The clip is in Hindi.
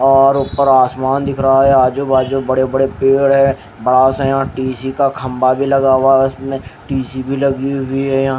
और ऊपर आसमान दिख रहा हैं आजू बाजू बड़े बड़े पेड़ हैं बड़ा सा यहाँ टी_सी का खंबा भीं लगा हुवा हैं इसमें टी_सी भीं लगी हुई हैं यहां--